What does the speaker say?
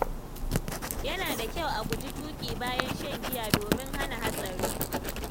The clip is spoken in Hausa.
Yana da kyau a guji tuƙi bayan shan giya domin hana hatsari.